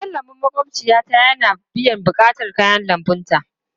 Gidan lambun maƙwabciyata yana biyan buƙatun kayan lambunta.